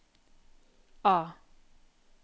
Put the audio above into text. A